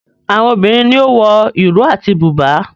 Àwọn obìrin ní o wọ Iro àti buba.